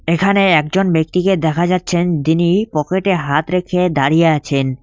এখানে একজন ব্যক্তিকে দেখা যাচ্ছেন দিনি পকেটে হাত রেখে দাঁড়িয়ে আছেন।